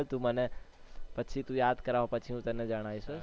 તું મને પછી તું યાદ કરાય પછી હું તને જણાઈશ